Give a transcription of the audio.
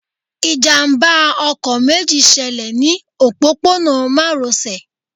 Ìjàmbá ọkọ̀ méjì ṣẹlẹ̀ ní òpópónà márosẹ̀